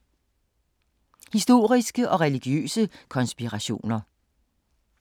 Historiske og religiøse konspirationer